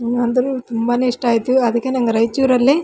ನೀವು ಅಂದ್ರೂನು ತುಂಬಾನೇ ಇಷ್ಟ ಆಯಿತು ಅದಕ್ಕೆ ನಂಗೆ ರಾಯಚೂರಲ್ಲಿ --